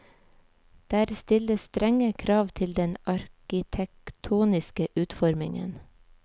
Der stilles strenge krav til den arkitektoniske utformingen.